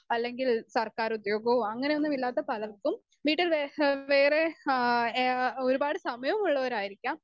speaker 2 അല്ലെങ്കിൽ സർക്കാർ ഉദ്യോഗോ അങ്ങനെയൊന്നുമില്ലാത്ത പലർക്കും വീട്ടിൽ വേ ഹ് വേറെ ഹാ ഏഹ് ഒരുപാട് സമയമുള്ളവരായിരിക്കാം